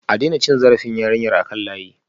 A daina cin zarafin yarinyar a kan layi